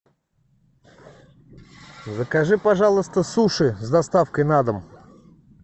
закажи пожалуйста суши с доставкой на дом